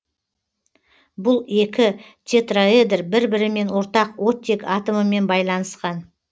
бұл екі тетраэдр бір бірімен ортақ оттек атомымен байланысқан